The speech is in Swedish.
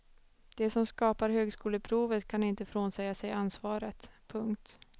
De som skapar högskoleprovet kan inte frånsäga sig ansvaret. punkt